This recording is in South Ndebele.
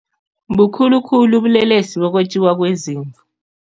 Bukhulu khulu ubulelesi bokwetjiwa kwezimu.